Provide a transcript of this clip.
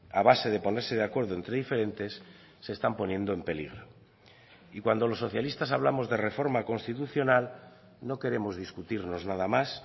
a base de ponerse de acuerdo entre diferentes se están poniendo en peligro y cuando los socialistas hablamos de reforma constitucional no queremos discutirnos nada más